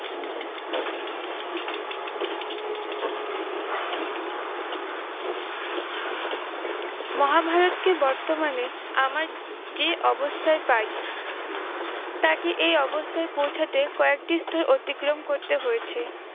মহাভারতকে বর্তমানে আমার, যে অবস্থায় পাই তাকে এই অবস্থায় পৌঁছাতে কয়েকটি স্তর অতিক্রম করতে হয়েছে।